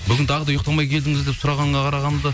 бүгін тағы да ұйықтамай келдіңіз деп сұрағанға қарағанда